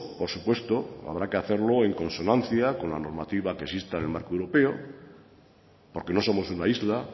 por supuesto habrá que hacerlo en consonancia con la normativa que exista en el marco europeo porque no somos una isla